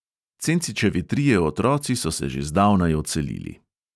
Cencičevi trije otroci so se že zdavnaj odselili.